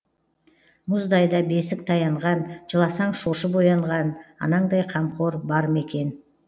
мұздай да бесік таянған жыласаң шошып оянған анаңдай қамқор бар ма екен